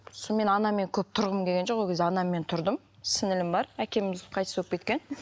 мен анаммен көп тұрғым келген жоқ ол кезде анаммен тұрдым сіңлілім бар әкеміз қайтыс болып кеткен